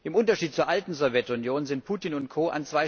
Im Unterschied zur alten Sowjetunion sind Putin und Co.